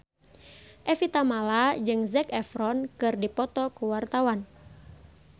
Evie Tamala jeung Zac Efron keur dipoto ku wartawan